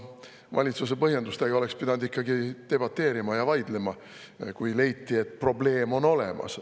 Valitsuse põhjenduste üle oleks pidanud ikkagi debateerima, kui leiti, et probleem on olemas.